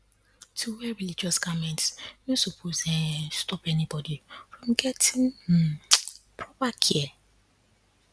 to wear religious garments no suppose [um][um]stop anybody from gettin um proper care